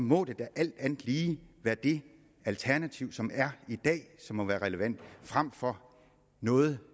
må det da alt andet lige være det alternativ som er i dag som må være relevant frem for noget